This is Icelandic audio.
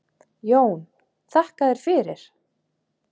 JÓN: Þakka þér fyrir!